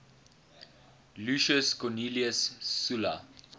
lucius cornelius sulla